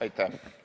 Aitäh!